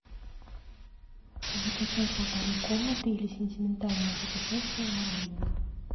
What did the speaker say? закачай полторы комнаты или сентиментальное путешествие на родину